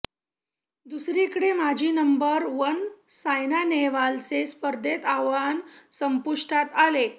दुसरीकडे माजी number one Saina नेहवालचे स्पर्धेतील आव्हान संपुष्टात आले